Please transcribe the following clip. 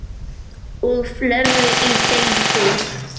og fleira í þeim dúr.